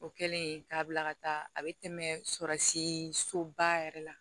O kɛlen k'a bila ka taa a bɛ tɛmɛ sɔrɔsi soba yɛrɛ la